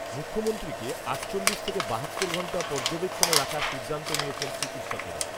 মুখ্যমন্ত্রীকে আটচল্লিশ থেকে বাহাত্তর ঘণ্টা পর্যবেক্ষণে রাখার সিদ্ধান্ত নিয়েছেন চিকিৎসকেরা